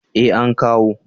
eh an kawo